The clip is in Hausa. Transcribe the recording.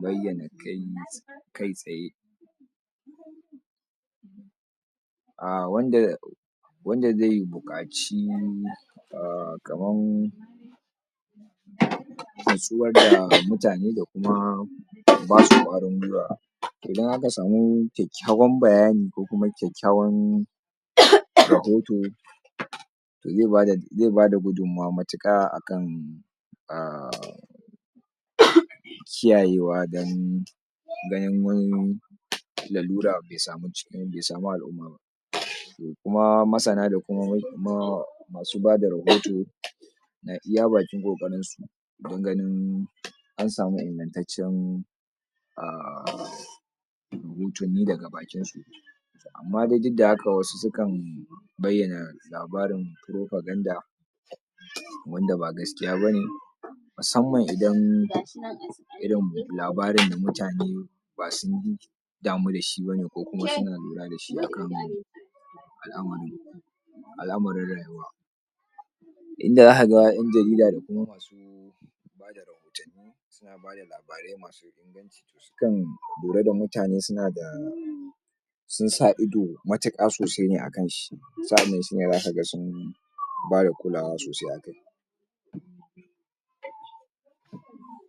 bayyana kai, kai tsaye a wanda wanda zai buƙaci aah kaman natsuwar da mutane da kuma basu ƙwarin gwiwa, idan aka samu kyakkyawan bayani, ko kuma kyakkyawan [ehem] [ehem], rahoto zai bada, zai bada gudummawa matuƙa akan um um kiyayewa don ganin wani lalura bai samu cikin, bai samu al'umma ba to kuma masana, da kuma ma masu bada rahoto na iya bakin ƙoƙarinsu don ganin an samu ingantaccen um gutumi daga bakinsu amma dai duk da haka wasu sukan bayyana labarin propaganda wanda ba gaskiya ba ne musamman idan irin labarin da mutane ba sun damu da shi ba ne ko kuma suna lura da shi akan al'amari al'amarin rayuwa inda zaka ga ƴan jarida da kuma masu bada rahotanni suna bada labarai masu inganci to sukan lura da mutane suna da sun sa ido matuƙa sosai ne akan shi sa'annan shi ne zaka ga sun bada kulawa sosai a kai.